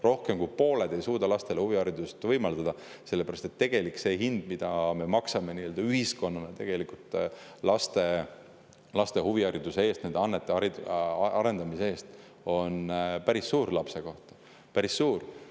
Rohkem kui pooled ei suudaks lastele huviharidust võimaldada, sest see tegelik hind, mida me maksame nii-öelda ühiskonnana laste huvihariduse eest, nende annete arendamise eest, on lapse kohta päris suur.